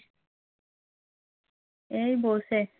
এই বসে